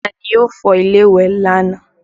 Taa ni ó fọ ilé ìwẹ̀ lánàá?